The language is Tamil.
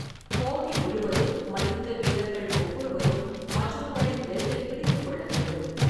போட்டி முழுவதும் மல்யுத்த வீரர்கள் ஒவ்வொருவரும் மற்றொருவரின் பெல்ட்டைப் பிடித்துக் கொள்ள வேண்டும்.